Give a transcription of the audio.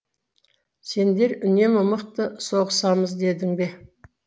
сендер үнемі мықты соғысамыз дедің бе